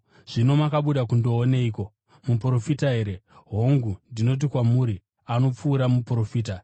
Zvino makabuda kundooneiko? Muprofita here? Hongu, ndinoti kwamuri anopfuura muprofita.